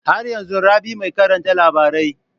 Har yanzun Rabi mai karanta labarai?